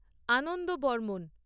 Ananda Barman